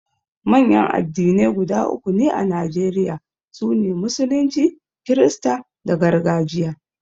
Manyan addinai guda uku ne a Najeriya, su ne, Musulunci, Kirista da Gargajiya.